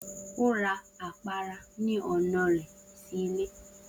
O ra apara ni ọna rẹ si ile.